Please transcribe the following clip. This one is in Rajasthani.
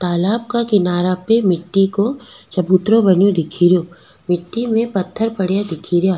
तालाब के किनारे पे मिटटी को चबूतरों बनो दिखेरो मिटी में पथर पड़ा दिख रा।